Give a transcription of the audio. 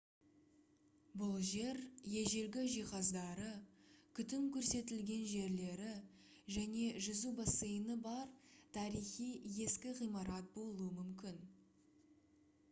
бұл жер ежелгі жиһаздары күтім көрсетілген жерлері және жүзу бассейні бар тарихи ескі ғимарат болуы мүмкін